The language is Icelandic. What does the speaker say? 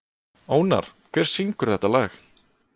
Ónar, hver syngur þetta lag?